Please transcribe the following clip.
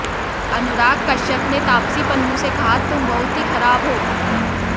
अनुराग कश्यप ने तापसी पन्नू से कहा तुम बहुत ही खराब हो